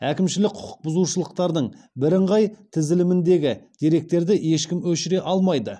әкімшілік құқық бұзушылықтардың бірыңғай тізіліміндегі деректерді ешкім өшіре алмайды